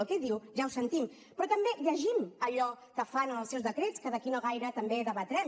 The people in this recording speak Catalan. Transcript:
el que diu ja ho sentim però també llegim allò que fan en els seus decrets que d’aquí no gaire també debatrem